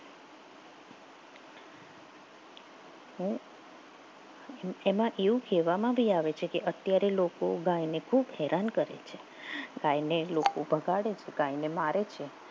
એમાં એવું કહેવામાં આવે છે કે અત્યારે લોકો ગાયને ખૂબ હેરાન કરે છે ગાયને લોકો બગાડે છે ગાયને લોકો મારે છે